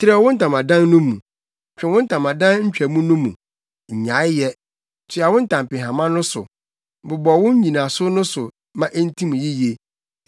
“Trɛw wo ntamadan no mu; twe wo ntamadan ntwamu no mu, nnyae yɛ; toa wo ntampehama no so, bobɔ wo nnyinaso no so ma entim yiye.